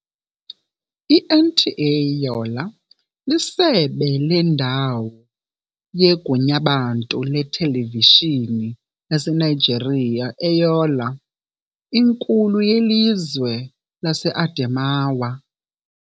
I-NTA Yola lisebe lendawo yeGunyabantu leTelevishini yaseNigeria eYola, inkulu yelizwe laseAdemawa.